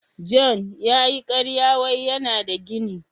" John " ya yi karya wai yana da gini.